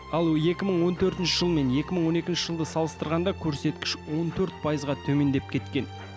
ал екі мың он төртінші жыл мен екі мың он екінші жылды салыстырғанда көрсеткіш он төрт пайызға төмендеп кеткен